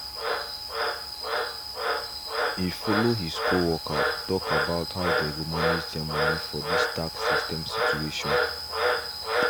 he follow his co worked talk about how they go manage their money for this tax system situation